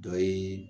Dɔ ye